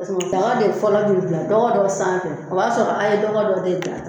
Paseke o tanga de fɔlɔ nunnu bila dɔgɔ dɔ sanfɛ, o b'a sɔrɔ a ye dɔgɔ dɔ de dila.